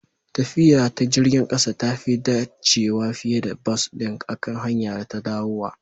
Tafiya ta jirgin ƙasa tafi dacewa fiye da bas ɗin akan hanyara ta dawowa